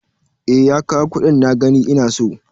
E, ya kawo kuɗin na gani ina so.